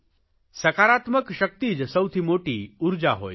સકારાત્મક શકિત જ સૌથી મોટી ઉર્જા હોય છે